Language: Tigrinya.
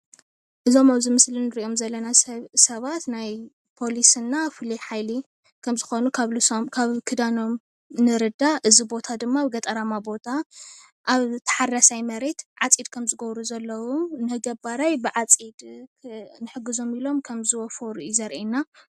እዞም ኣብዚ ምስሊ እንሪኦም ዘለና ሰባት ፖሊስ እና ፋሉይ ሓይሊ ከም ዝኾኑ ካብ ክዳኖም ምርዳእ ይከኣል እዚ ዘለዎ ቦታ ድማ ናይ ሓረስታይ ዝራእቲ ዳ ዓፀዱ የርኢ።